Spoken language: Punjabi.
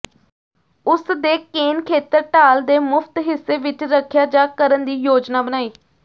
ਉਸ ਦੇ ਕੇਨ ਖੇਤਰ ਢਾਲ ਦੇ ਮੁਫ਼ਤ ਹਿੱਸੇ ਵਿੱਚ ਰੱਖਿਆ ਜਾ ਕਰਨ ਦੀ ਯੋਜਨਾ ਬਣਾਈ